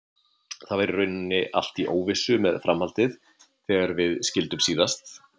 Það var í rauninni allt í óvissu með framhaldið þegar við skildum síðast.